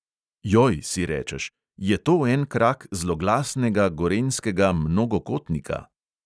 Joj, si rečeš – je to en krak zloglasnega gorenjskega mnogokotnika?